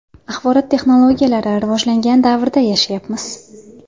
Axborot texnologiyalari rivojlangan davrda yashayapmiz.